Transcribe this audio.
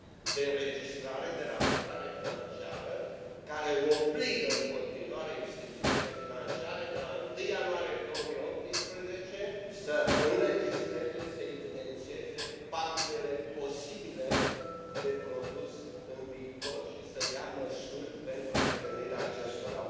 de înregistrare, de raportare financiară, care obligă în continuare instituțiile financiare de la 1 ianuarie 2018 să înregistreze, să evidențieze pagubele posibile de produs în viitor și să ia măsuri pentru prevenirea acestora.